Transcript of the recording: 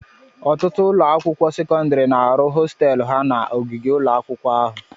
Ọtụtụ ụlọ akwụkwọ sekọndrị na-arụ hostéélu ha na ogige ụlọ akwụkwọ ahụ